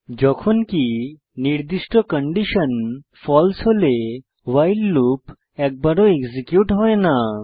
যখনকি নির্দিষ্ট কন্ডিশন ফালসে হলে ভাইল লুপ একবারও এক্সিকিউট হয় না